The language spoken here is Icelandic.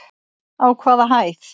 Á hvaða hæð?